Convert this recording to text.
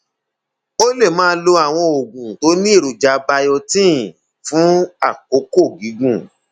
o lè máa lo àwọn oògùn tó ní èròjà biotin fún àkókò gígùn